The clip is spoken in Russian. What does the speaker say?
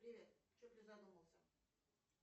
привет че призадумался